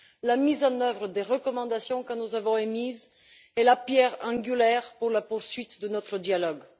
La mise en œuvre des recommandations que nous avons émises est la pierre angulaire de la poursuite de notre dialogue.